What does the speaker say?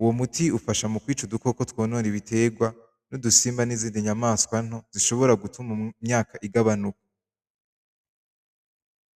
uwo muti ufasha mukwica udukoko twonona ibiterwa, n'udusimba nizinda nyamaswa nto zishobora gutuma imyaka igabanuka.